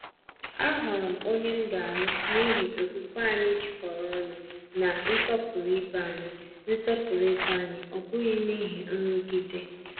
Ahọọrọ m onye m ga-alụ n’ihi okwukwe anyị jikọrọ ọnụ na nsọpụrụ ibe anyị, nsọpụrụ ibe anyị, ọ bụghị n’ihi nrụgide.